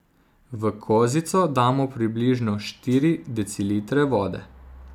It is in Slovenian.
V kozico damo približno štiri decilitre vode.